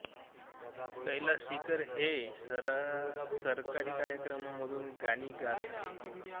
कैलाश खेर हे सरकारी कार्यक्रमांतून गाणी गात आहेत